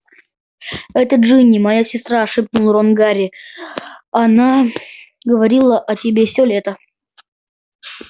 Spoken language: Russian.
это джинни моя сестра шепнул рон гарри она говорила о тебе всё лето